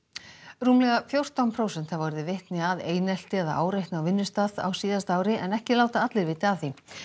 rúmlega fjórtán prósent hafa orðið vitni að einelti eða áreitni á vinnustað á síðasta ári en ekki láta allir vita af því